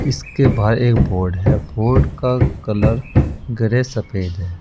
इसके बाहर एक बोर्ड है बोर्ड का कलर ग्रे सफेद है।